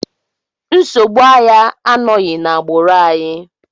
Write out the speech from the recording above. Nsogbu anya anọghị n'agbụrụ anyị.